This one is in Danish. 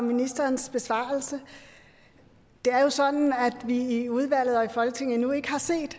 ministerens besvarelse det er jo sådan at vi i udvalget og i folketinget endnu ikke har set